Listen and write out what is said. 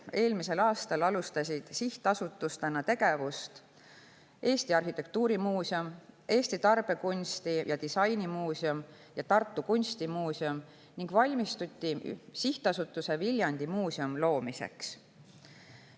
Eelmisel aastal alustasid sihtasutustena tegevust Eesti Arhitektuurimuuseum, Eesti Tarbekunsti‑ ja Disainimuuseum ja Tartu Kunstimuuseum ning valmistuti Sihtasutuse Viljandi Muuseum loomiseks.